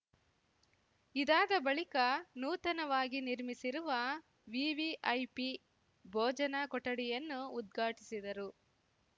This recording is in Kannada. ಇದಾದ ಬಳಿಕ ನೂತನವಾಗಿ ನಿರ್ಮಿಸಿರುವ ವಿವಿಐಪಿ ಭೋಜನ ಕೊಠಡಿಯನ್ನು ಉದ್ಘಾಟಿಸಿದರು